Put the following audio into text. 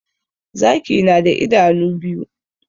Zaki na da idanu biyu